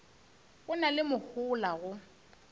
go na le mohola go